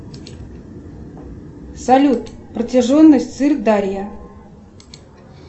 салют протяженность сырдарья